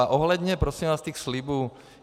A ohledně, prosím vás, těch slibů.